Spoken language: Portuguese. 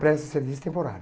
Presto serviço temporário.